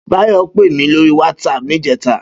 Bayo pé mi lóri wàtsáp nijètá